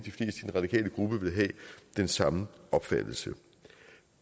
radikale gruppe vil have den samme opfattelse